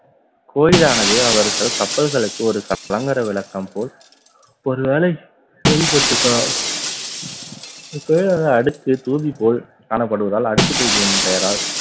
கோயிலானது அவர்கள் கப்பல்களுக்கு ஒரு க~ கலங்கரை விளக்கம் போல் ஒருவேளை செயல்பட்டிருக்கலாம். அடுத்து தூவி போல் காணப்படுவதால் அடுக்கு தூதி என்னும் பெயரால்